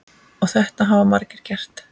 Og þetta hafa margir gert.